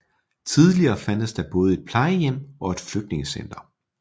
Tidligere fandtes der både et plejehjem og et flygtningecenter